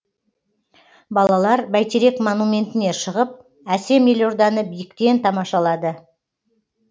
балалар бәйтерек монументіне шығып әсем елорданы биіктіктен тамашалады